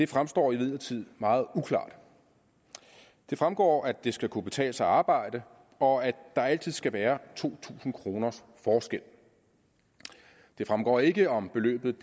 fremstår imidlertid meget uklart det fremgår at det skal kunne betale sig at arbejde og at der altid skal være to tusind kroners forskel det fremgår ikke om beløbet